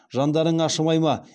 жандарың ашымай ма